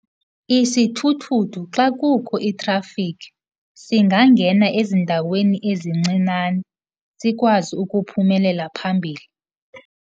Isithuthuthu xa kukho itrafikhi singangena ezindaweni ezincinane, sikwazi ukuphumelela phambili.